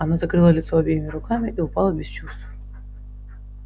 она закрыла лицо обеими руками и упала без чувств